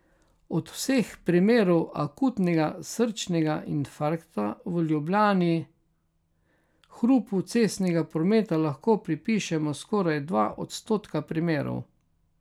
Od vseh primerov akutnega srčnega infarkta v Ljubljani hrupu cestnega prometa lahko pripišemo skoraj dva odstotka primerov.